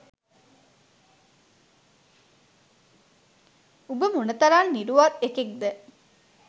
උඹ මොන තරම් නිරුවත් එකෙක්ද